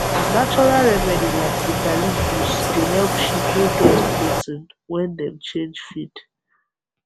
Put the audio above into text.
natural remedy like bitter leaf juice dey help sheep wey get bloating when dem change feed